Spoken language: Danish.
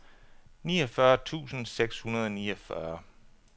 niogfyrre tusind seks hundrede og niogfyrre